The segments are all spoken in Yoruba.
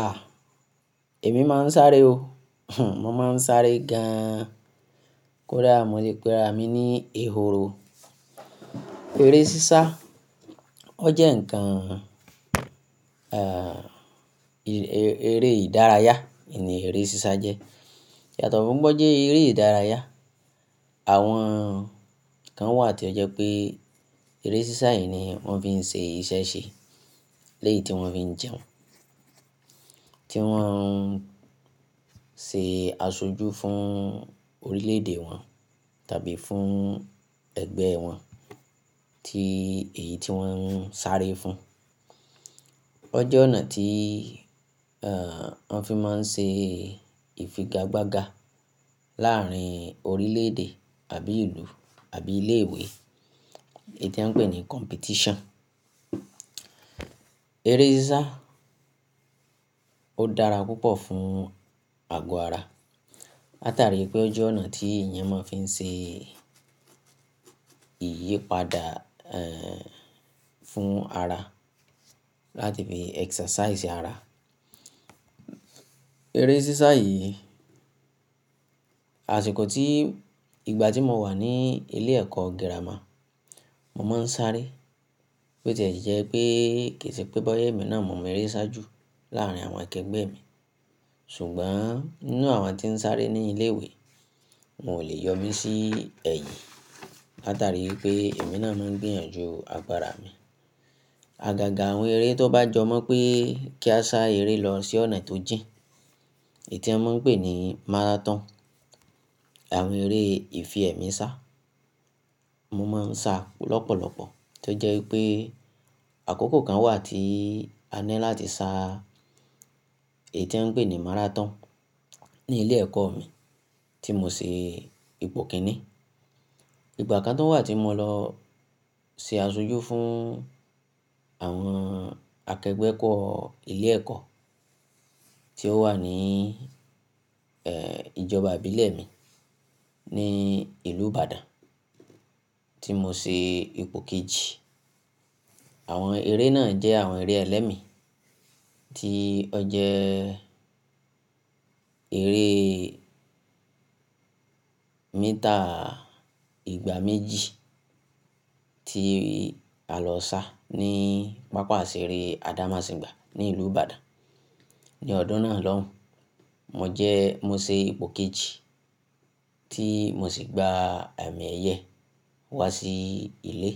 Ah! Èmi máa ń sáré o, mo máa ń sáré gan-an. Kódà mo le pe ara mi ní èhòrò. Eré sísá, ó jẹ́ ǹkan, eré ìdárayá, in ni eré sísá jẹ́. Yàtọ̀ fún pé ó jẹ́ eré ìdárayá, àwọn ǹkan wà tí ó jẹ́ pé eré sísá yìí ni wón fi ń ṣe iṣẹ́ ṣe. Lẹ́yi tí wón fi ń jẹun, tí wọ́n ń ṣe àṣojú fún orílẹ̀-èdè wọn tàbí fún ẹgbẹ́ wọn, tí èyí tí wón ń sáré fún. Ó jẹ́ ọ̀nà tí, wón fi máa ń ṣe ìfigagbága láàrín orílẹ̀-èdè tàbí ìlú àbí ilé ìwé, èyí tí a ń pè ní competition. Eré sísá ó dára púpọ̀ fún àgọ́ ara. Láta rí i pé ó jẹ́ ọ̀nà tí èèyàn máa ń fi ṣe ìyípadà, fún ara, láti fi exercise ara. Eré sísá yìí, àsìkò tí, ìgbà tí mo wà ní ilé ẹ̀kọ́ gírámà, mo máa ń sáré. Bí ó ti jẹ́ pé kì í ṣe pé bóyá, èmi náà mo mọ eré sá jù láàrín àwọn akẹgbẹ́ mi. Ṣùgbọ́n nínú àwọn tí ń sáré ní ilé ìwé, n ò lè yọ mí sí ẹ̀yìn. Láta rí i pé èmi náà máa ń gbìyànjú agbára mi. Agaga àwọn eré tó bá jọ mọ pé kí a sá eré lọ sí ọ̀nà tó jìn, èyí tí a máa ń pè ní márátọ̀n. Àwọn eré ìfi ẹ̀mí sá, mo máa ń sa lọ́pọ̀lọpọ̀. Tó jẹ́ wípé àkókò kan wà tí a ní láti sá èyí tí a ń pè ní márátọ̀n ní ilé ẹ̀kọ́ mi tí mo ṣe ipò kìíní. Ìgbà kan tó wà tí mo lọ ṣe àṣojú fún àwọn akẹgbẹ́ kọ́ ilé ẹ̀kọ́ tí ó wà ní, ìjọba ìbílẹ̀ mi ní ìlú Ìbàdàn tí mo ṣe ipò kejì. Àwọn eré náà jẹ́ àwọn eré ẹlẹ́mi tí ó jẹ́ eré meter ìgbà méjì tí a lọ sá ní, pàápàá sì eré àdámọ̀sìgbà ní ìlú Ìbàdàn. Ni ọdún náà lóhùn, mo jẹ́, mo ṣe ipò kejì tí mo sì gba amí ẹyẹ wá sí ilé.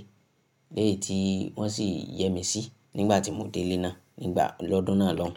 Lẹ́yì tí wọ́n sì yẹ mí sí nígbà tí mo dé ilé náà, nígbà lọ́dún náà lóhùn.